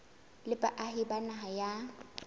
le baahi ba naha ya